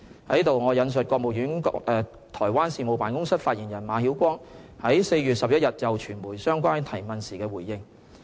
在此，我引述國務院台灣事務辦公室發言人馬曉光，於4月11日就傳媒相關提問時的回應。